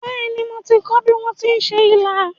Bẹ́ẹ̀ni, mo ti kọ́ bí wón ti ń se ilá